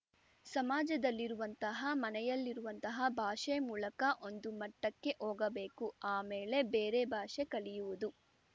ಸಮಾಜದಲ್ಲಿರುವಂತಹ ಮನೆಯಲ್ಲಿರುವಂತಹ ಭಾಷೆ ಮೂಲಕ ಒಂದು ಮಟ್ಟಕ್ಕೆ ಹೋಗಬೇಕು ಆ ಮೇಲೆ ಬೇರೆ ಭಾಷೆ ಕಲಿಯುವುದು